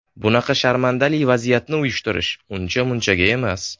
Bunaqa sharmandali vaziyatni uyushtirish uncha munchaga emas.